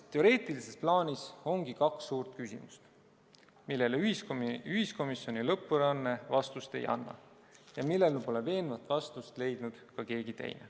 Teoreetilises plaanis ongi kaks suurt küsimust, millele ühiskomisjoni lõpparuanne vastust ei anna ja millele pole veenvat vastust leidnud ka keegi teine.